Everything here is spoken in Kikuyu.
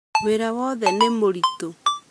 Wĩra wothe nĩ mũritũ